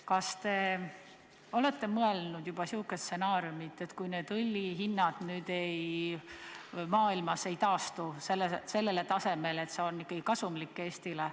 Kas te olete mõelnud ka niisuguse stsenaariumi peale, et mis saab siis, kui õli hind maailmas ei taastu sellele tasemele, et see oleks Eestile ikkagi kasumlik?